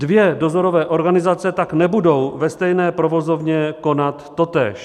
Dvě dozorové organizace tak nebudou ve stejné provozovně konat totéž.